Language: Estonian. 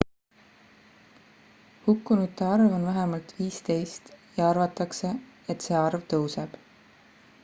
hukkunute arv on vähemalt 15 ja arvatakse et see arv tõuseb